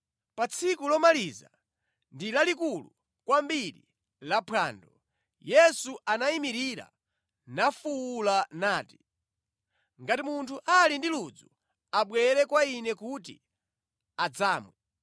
Pa tsiku lomaliza ndi lalikulu kwambiri laphwando, Yesu anayimirira nafuwula nati, “Ngati munthu ali ndi ludzu, abwere kwa Ine kuti adzamwe.